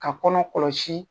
Ka kɔnɔ kɔlɔsi.